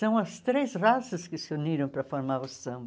São as três raças que se uniram para formar o samba.